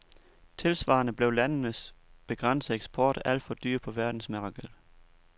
Tilsvarende blev landenes begrænsede eksport alt for dyr på verdensmarkedet.